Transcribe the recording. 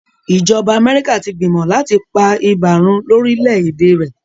ìjọba Amerika tí gbìmọ láti pá ibà run lórí lẹ èdè rẹ.